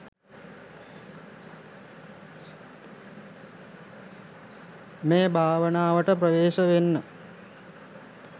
මේ භාවනාවට ප්‍රවේශ වෙන්න